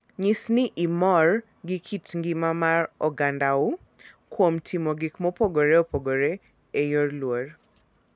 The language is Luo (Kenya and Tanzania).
Nyis ni imor gi kit ngima mar ogandau kuom timo gik mopogore opogore e yor luor.